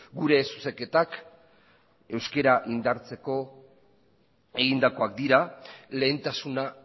gure zuzenketak euskera indartzeko egindakoak dira lehentasuna